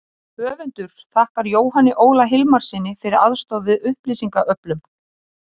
Höfundur þakkar Jóhanni Óla Hilmarssyni fyrir aðstoð við upplýsingaöflun.